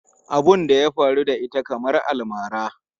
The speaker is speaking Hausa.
Abun da ya faru da ita kamar almara.